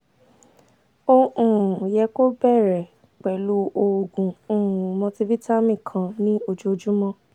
o um yẹ kó o bẹ̀rẹ̀ pẹ̀lú oogun um multivitamin kan ní ojoojúmọ́